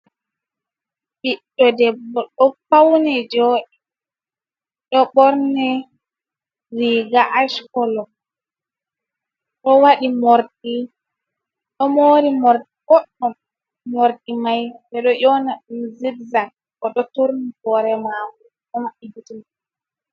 Ɓiɗdo debbo ɗo fauni joɗi ɗo ɓorni riga ash kolo oɗo waɗi morɗi ɗo mori morɗi ɓoɗɗum mordi mai ɓeɗo yona ɗum zidzak oɗo turni hore mako oɗo maɓɓi gitte mako.